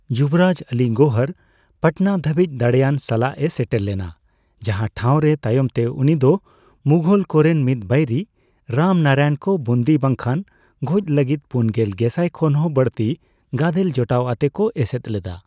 ᱡᱩᱵᱚᱨᱟᱡᱽ ᱟᱞᱤ ᱜᱳᱦᱚᱨ ᱯᱟᱴᱱᱟ ᱫᱷᱟᱹᱵᱤᱪ ᱫᱟᱲᱮᱭᱟᱱ ᱥᱟᱞᱟᱜ ᱮ ᱥᱮᱴᱮᱨ ᱞᱮᱱᱟ, ᱡᱟᱸᱦᱟ ᱴᱷᱟᱣ ᱨᱮ ᱛᱟᱭᱚᱢ ᱛᱮ ᱩᱱᱤ ᱫᱚ ᱢᱩᱜᱷᱚᱞ ᱠᱚᱨᱮᱱ ᱢᱤᱫᱵᱟᱹᱭᱨᱤ, ᱨᱟᱢᱱᱟᱨᱟᱭᱚᱱ ᱠᱚ ᱵᱩᱱᱫᱤ ᱵᱟᱝᱠᱷᱟᱱ ᱜᱚᱡ ᱞᱟᱹᱜᱤᱫ ᱯᱩᱱᱜᱮᱞ ᱜᱮᱥᱟᱭ ᱠᱷᱚᱱ ᱦᱚᱸ ᱵᱟᱹᱲᱛᱤ ᱜᱟᱫᱮᱞ ᱡᱚᱴᱟᱣ ᱟᱛᱮ ᱠᱚ ᱮᱥᱮᱫ ᱞᱮᱫᱟ ᱾